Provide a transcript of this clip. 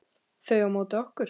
Þau á móti okkur.